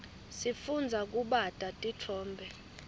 sifundza kubata titfombe